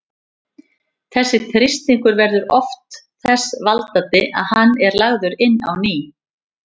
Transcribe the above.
Þessi þrýstingur verður oft þess valdandi að hann er lagður inn á ný.